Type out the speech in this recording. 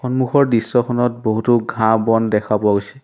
সন্মুখৰ দৃশ্যখনত বহুতো ঘাঁহ-বন দেখা পোৱা গৈছে।